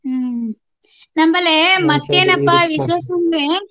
ಹಾ ನಮ್ಮಲ್ಲಿ ಮತ್ತೇನಪ್ಪಾ ವಿಶೇಷ ಅಂದ್ರೆ.